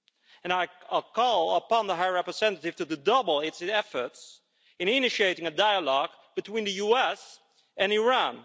And I call upon the High Representative to redouble her efforts in initiating a dialogue between the US and Iran.